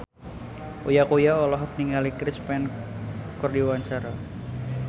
Uya Kuya olohok ningali Chris Pane keur diwawancara